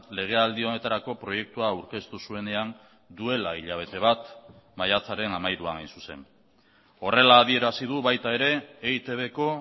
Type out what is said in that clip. legealdi honetarako proiektua aurkeztu zuenean duela hilabete bat maiatzaren hamairuan hain zuzen horrela adierazi du baita ere eitbko